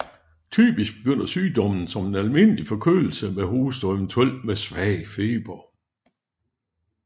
Typisk begynder sygdommen som en almindelig forkølelse med hoste og eventuelt med svag feber